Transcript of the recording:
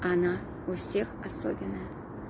она у всех особенная